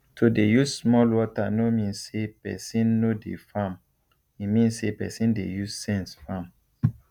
to dey use small water no mean say person no dey farm e mean say person dey use sense farm